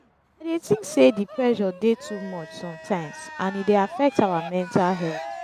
i dey think say di pressure dey too much sometimes and e dey affect our mental health.